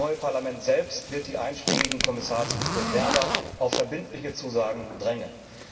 Das neue Parlament selbst wird die einschlägigen Kommissarsbewerber auf verbindliche Zusagen drängen.